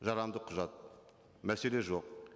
жарамды құжат мәселе жоқ